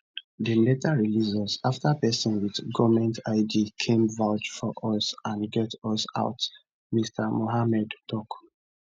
dem later release us afta pesin wit goment id came vouch for us and get us out mr mohamed tok